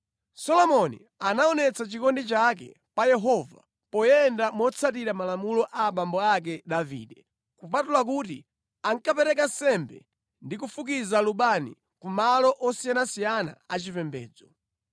Solomoni anaonetsa chikondi chake pa Yehova poyenda motsatira malamulo a abambo ake Davide, kupatula kuti ankapereka nsembe ndi kufukiza lubani ku malo osiyanasiyana achipembedzo.